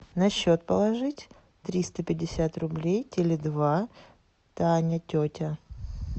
на счет положить триста пятьдесят рублей теле два таня тетя